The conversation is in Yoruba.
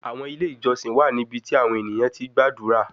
Awọn ile ijọsin wa nibiti awọn eniyan ti gbadura